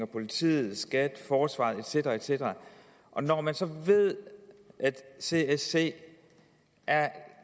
politiet skat forsvaret et cetera et cetera når man så ved at csc er